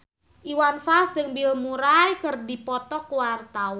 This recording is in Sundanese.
Iwan Fals jeung Bill Murray keur dipoto ku wartawan